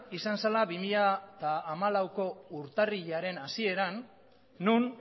izan zela bi mila hamalaueko urtarrilaren hasieran non